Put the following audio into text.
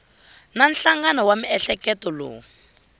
na nhlangano wa miehleketo lowu